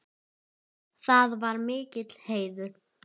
Það var mikill heiður.